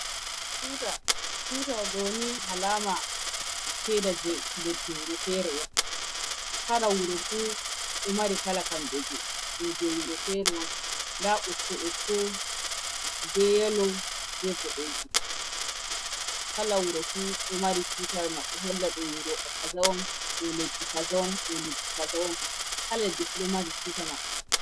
Tuta tutuwa ɗoni halama ceda je leddi wurofere on, kala wurofu ɗo mari kala kamɓejje wurofere on nda ɓokko-ɓokko beyalo be boɗejum. kala wurofu ɗo mari tuta maɓɓe holla ɗo wuroɗo kaza on, ɗole leddi kaza on, dole ddika zawon kal ɗiɗo mari tuta maɓɓe.